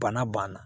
Bana banna